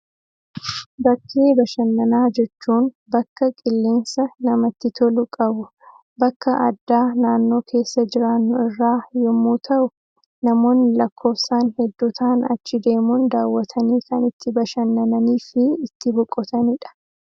Bakkee bashannanaa jechuun, bakka qilleensa namatti tolu qabu, bakka addaa naannoo keessa jiraannu irraa yemmuu ta'u, namoonni lakkoofsaan hedduu ta'an achi deemuun daawwatanii kan itti bashannanii fi ittis boqotani dha.